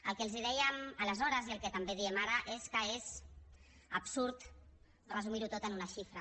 el que els dèiem aleshores i el que també diem ara és que és absurd resumir ho tot en una xifra